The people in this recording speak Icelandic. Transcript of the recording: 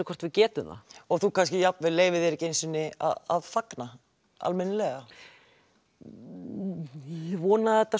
hvort við getum það og þú leyfir þér kannski ekki einu sinni að fagna almennilega ég vona að þetta